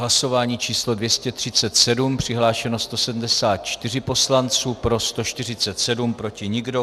Hlasování číslo 237, přihlášeno 174 poslanců, pro 147, proti nikdo.